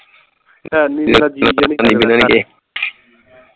ਮੇਰਾ ਜੀ ਜਾ ਆਪਣੀ ਕਿੱਧਰ ਗਏ